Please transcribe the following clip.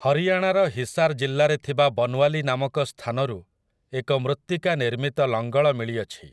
ହରିୟାଣାର ହିସାର୍ ଜିଲ୍ଲାରେ ଥିବା ବନ୍ୱାଲି ନାମକ ସ୍ଥାନରୁ ଏକ ମୃତ୍ତିକା ନିର୍ମିତ ଲଙ୍ଗଳ ମିଳିଅଛି ।